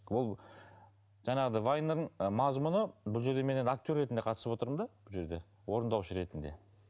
ол жаңағыдай вайнның мазмұны бұл жерде мен енді актер ретінде қатысып отырмын да бұл жерде орындаушы ретінде